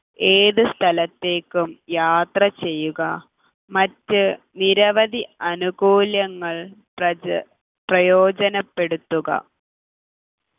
ഏത് സ്ഥലത്തേക്കും യാത്ര ചെയ്യുക മറ്റ് നിരവധി അനുകൂലങ്ങൾ പ്രജ പ്രയോജനപ്പെടുത്തുക